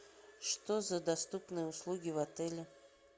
что за доступные услуги в отеле